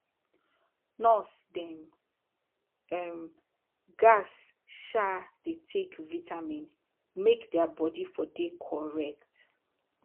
nurse dem um gats um dey take vitamin make dia bodi for dey correct